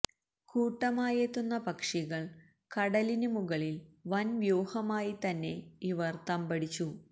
കൂട്ടമായത്തെുന്ന പക്ഷികൾ കടലിന് മുകളിൽ വൻ വ്യൂഹമായി തന്നെ ഇവർ തമ്പടിച്ചു